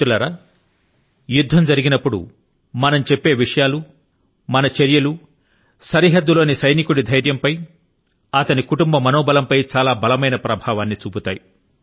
మిత్రులారా యుద్ధం జరిగినప్పుడు మనం చెప్పే విషయాలు మన చర్యలు సరిహద్దు లోని సైనికుడి ధైర్యం పై అతని కుటుంబ మనో బలం పై చాలా బలమైనటువంటి ప్రభావాన్ని చూపుతాయి